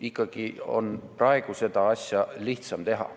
Ikkagi on praegu seda asja lihtsam teha.